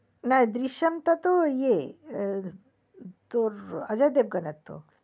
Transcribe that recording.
না দৃশ্যামটা তো ই এ তোর অজয় দেবগনের তো